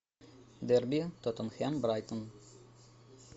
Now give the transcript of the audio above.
дерби тоттенхэм брайтон